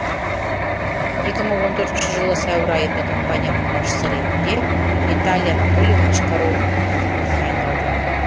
екі мың он төртінші жылы сәуір айында компанияның басшысы ретінде виталий анатольевич корольков тағайындалды